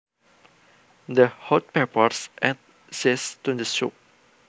The hot peppers add zest to the soup